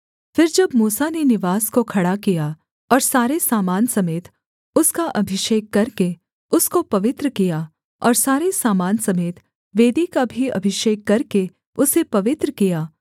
फिर जब मूसा ने निवास को खड़ा किया और सारे सामान समेत उसका अभिषेक करके उसको पवित्र किया और सारे सामान समेत वेदी का भी अभिषेक करके उसे पवित्र किया